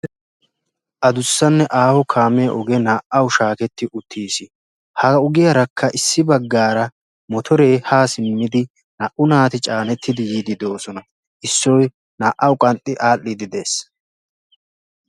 addusanne aaho kaamiyaa ogee naa''uw shaaketi uttiis, ha ogiyarakka issi baggaara motoore ha simmidi naa''u naati caanettidi yiidi doosona. issoy naa''aw qanxxi aadhdhidi de'ees.